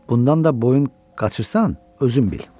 Bundan da boyun qaçırsan, özün bil.